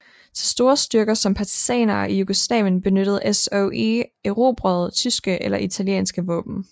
Til store styrker som partisanerne i Jugoslavien benyttede SOE erobrede tyske eller italienske våben